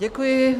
Děkuji.